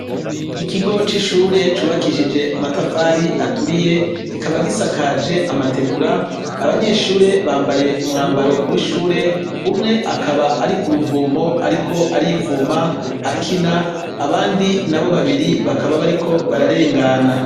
Ikigo c'ishure cubakishije amatafari aturiye kikaba gisakaje amategura, abanyeshure bambaye umwambaro w'ishure umwe akaba ari kuruvomo ariko arivoma akina abandi nabo babiri bakaba bariko bararengana.